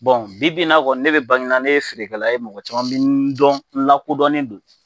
bi bi in n'a fɔ ne bɛ Baginda ne ye feerekɛla ye mɔgɔ caman bi n dɔn n lakodɔnnen don